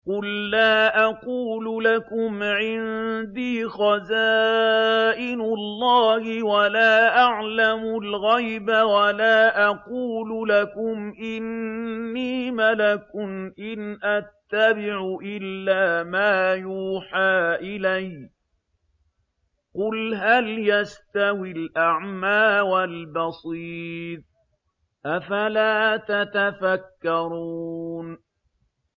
قُل لَّا أَقُولُ لَكُمْ عِندِي خَزَائِنُ اللَّهِ وَلَا أَعْلَمُ الْغَيْبَ وَلَا أَقُولُ لَكُمْ إِنِّي مَلَكٌ ۖ إِنْ أَتَّبِعُ إِلَّا مَا يُوحَىٰ إِلَيَّ ۚ قُلْ هَلْ يَسْتَوِي الْأَعْمَىٰ وَالْبَصِيرُ ۚ أَفَلَا تَتَفَكَّرُونَ